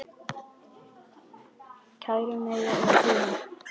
Kæru Maja og Þura.